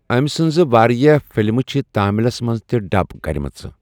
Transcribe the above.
أمہِ سٕنٛزِ واریٛاہ فلمہِ چھِ تاملَس منٛز تہِ ڈب کَرِ مَژٕ۔